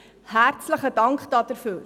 Herzlichen Dank dafür.